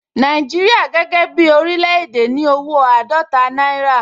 Nàìjíríà gẹ́gẹ́ bí oríléèdè ní owó àádọ́ta náírà